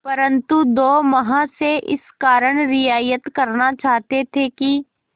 परंतु दो महाशय इस कारण रियायत करना चाहते थे कि